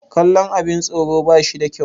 kallon abin tsoro ba shi da kyau